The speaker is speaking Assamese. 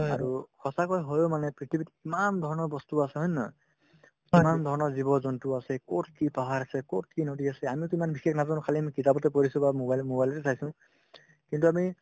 আৰু সঁচাকৈ হয়ো মানে পৃথিৱীত কিমান ধৰণৰ বস্তু আছে হয় নে নহয় কিমানধৰণৰ জীৱ-জন্তু আছে ক'ত কি পাহাৰ আছে ক'ত কি নদী আছে আমিতো ইমান বিচাৰি খালি আমি কিতাপতে পঢ়িছো বা mobile~mobile তে চাইছো কিন্তু আমি